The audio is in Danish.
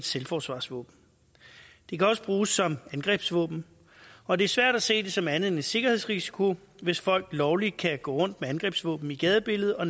selvforsvarsvåben det kan også bruge som angrebsvåben og det er svært at se det som andet end en sikkerhedsrisiko hvis folk lovligt kan gå rundt med angrebsvåben i gadebilledet og